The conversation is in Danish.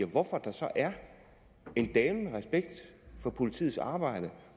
hvorfor der så er en dalende respekt for politiets arbejde og